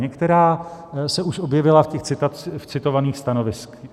Některá se už objevila v citovaných stanoviscích.